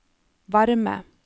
varme